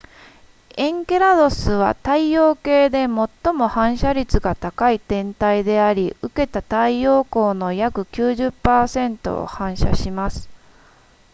エンケラドゥスは太陽系で最も反射率が高い天体であり受けた太陽光の約 90% を反射します